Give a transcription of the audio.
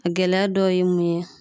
A gɛlɛya dɔw ye mun ye